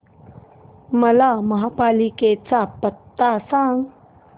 मला महापालिकेचा पत्ता सांग